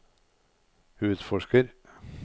utforsker